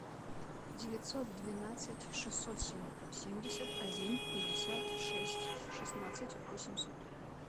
девятьсот двенадцать шестьсот семьдесят один пятьдесят шесть шестнадцать восемьсот